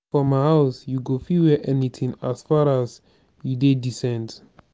for my house you go fit wear anything as faras you dey decent